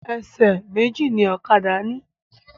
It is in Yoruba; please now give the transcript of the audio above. Ẹsẹ̀ méjì náà ni ọ̀kadà ni.